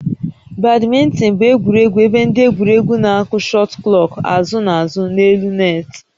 Badminton bụ egwuregwu ebe ndị egwuregwu na-akụ shuttlecock azụ na azụ n'elu net